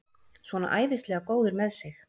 Svona æðislega góður með sig!